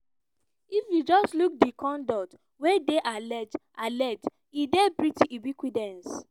"if you just look di conduct wey dey alleged alleged e dey pretty ubiquitous.